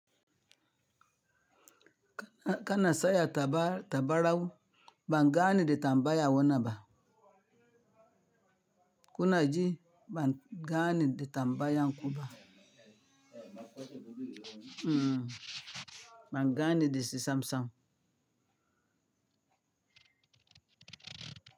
Kana saya tabarau, bangane da tambaya wanaba. Kuna ji bangane da tambaya kuba. Mmm, bangane dashi sisam sam.